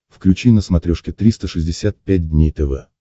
включи на смотрешке триста шестьдесят пять дней тв